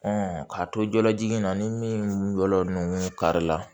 k'a to jɔlajigin na ni min yɔrɔ ninnu kari la